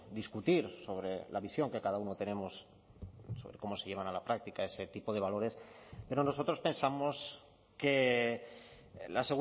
discutir sobre la visión que cada uno tenemos sobre cómo se llevan a la práctica ese tipo de valores pero nosotros pensamos que la